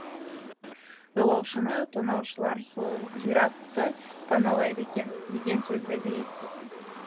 жолаушыны тонаушылар сол зиратты паналайды екен деген сөзді де еститін